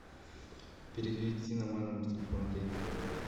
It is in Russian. перевести на мой номер телефона деньги